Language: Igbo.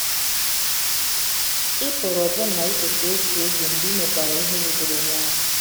Ị pụrụ ọbụna icheta otu oge mgbe i mekwara ihe wutere onye ahụ.